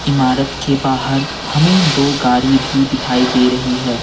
इमारत के बाहर हमें दो गाड़ी भी दिखाई दे रही है।